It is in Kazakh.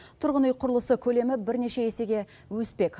тұрғын үй құрылысы көлемі бірнеше есеге өспек